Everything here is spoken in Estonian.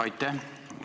Aitäh!